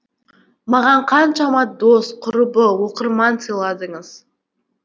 маған қаншама дос құрбы оқырман сыйладыңыз